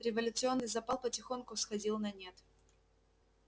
революционный запал потихоньку сходил на нет